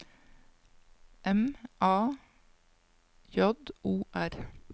M A J O R